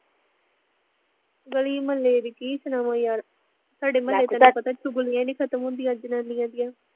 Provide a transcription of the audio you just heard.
ਗਲੀ ਮੁਹੱਲੇ ਦੀ ਕੀ ਸੁਣਾਵਾਂ ਯਰ, ਸਾਡੇ ਮੁਹੱਲੇ ਚ ਤੈਨੂੰ ਪਤਾ ਚੁਗਲੀਆਂ ਨੀ ਖਤਮ ਹੁੰਦੀਆ ਜਨਾਨੀਆ ਦੀਆ